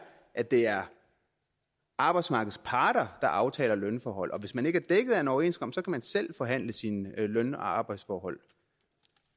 at det er arbejdsmarkedets parter der aftaler lønforhold og hvis man ikke er dækket af en overenskomst kan man selv forhandle sine løn og arbejdsforhold